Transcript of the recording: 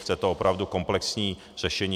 Chce to opravdu komplexní řešení.